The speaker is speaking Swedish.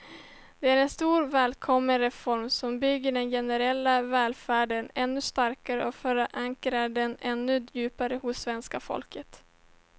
Det är en stor, välkommen reform som bygger den generella välfärden ännu starkare och förankrar den ännu djupare hos svenska folket.